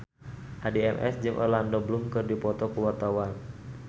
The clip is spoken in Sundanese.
Addie MS jeung Orlando Bloom keur dipoto ku wartawan